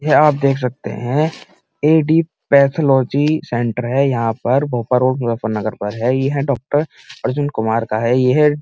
यहाँ आप देख सकते हैं ए.डी. पैथोलॉजी सेंटर है। यहाँ पर भोपा रोड नगर पर है। ये है डॉक्टर अर्जुन कुमार का है। ये है --